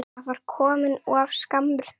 Það var of skammur tími.